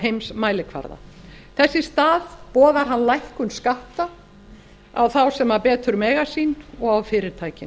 heimsmælikvarða þess í stað boðar hann lækkun skatta á þá sem betur mega sín og fyrirtækin